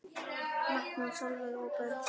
Magnús, Sólveig og börn.